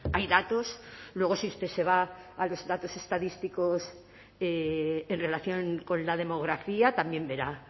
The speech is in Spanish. hay datos luego si usted se va a los datos estadísticos en relación con la demografía también verá